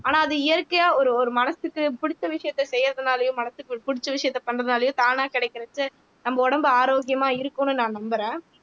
ஆனா அது இயற்கையா ஒரு ஒரு மனசுக்கு பிடித்த விஷயத்த செய்யிறதுனாலயும் மனசுக்கு புடிச்ச விஷயத்த பண்றதுனாலயோ தானா கிடைக்கிறச்ச நம்ப உடம்பு ஆரோக்கியமா இருக்கும்னு நான் நம்புறேன்